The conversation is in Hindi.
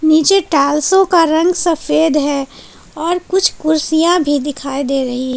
नीचे टाइल्सो का रंग सफेद है और कुछ कुर्सियां भी दिखाई दे रही है।